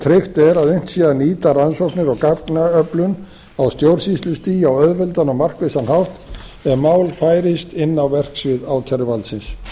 tryggt er að unnt sé að nýta rannsóknir og gagnaöflun á stjórnsýslustigi á auðveldan og markvissan hátt ef mál færist inn á verksvið ákæruvaldsins